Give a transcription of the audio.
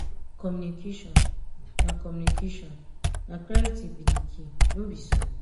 communication na communication na clarity be di key no be so?